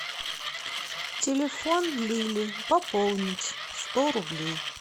телефон лили пополнить сто рублей